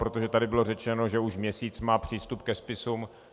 Protože tady bylo řečeno, že už měsíc má přístup ke spisům.